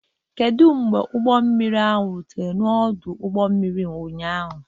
Kedu mgbe ụgbọ mmiri ahụ rutere n'ọdụ ụgbọ mmiri ụnyaahụ?